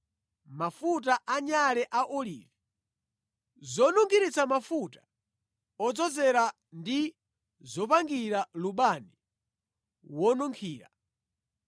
mafuta anyale a olivi, zonunkhiritsa mafuta odzozera ndi zopangira lubani wonunkhira;